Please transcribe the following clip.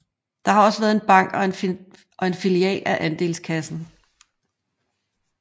Der har også været en bank og en filial af Andelskassen